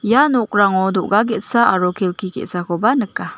ia nokrango do·ga ge·sa aro kelki ge·sakoba nika.